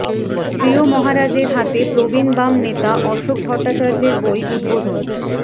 প্রিয় মহারাজের হাতে প্রবীণ বাম নেতা অশোক ভট্টাচার্যের বই উদ্বোধন